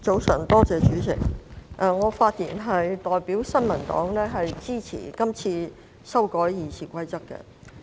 我是次發言是代表新民黨支持修改《議事規則》的建議。